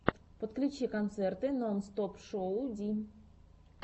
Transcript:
подключи концерты нонстопшоу ди